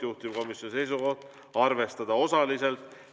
Juhtivkomisjoni seisukoht: arvestada osaliselt.